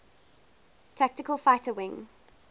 tactical fighter wing